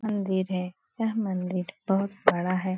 मन्दिर है यह मन्दिर बहुत बड़ा है।